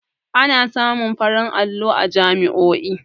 Ana samun farin allo a jami'oi